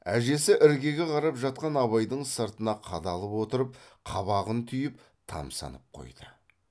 әжесі іргеге қарап жатқан абайдың сыртына қадалып отырып қабағын түйіп тамсанып қойды